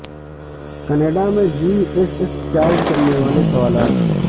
Canada میں G S S charge کرنے والے سوالات